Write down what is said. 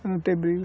Para não ter briga.